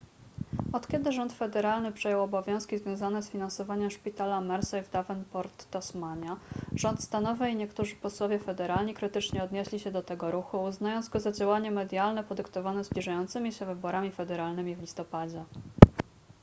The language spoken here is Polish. od kiedy rząd federalny przejął obowiązki związane z finansowaniem szpitala mersey w davenport tasmania rząd stanowy i niektórzy posłowie federalni krytycznie odnieśli się do tego ruchu uznając go za działanie medialne podyktowane zbliżającymi się wyborami federalnymi w listopadzie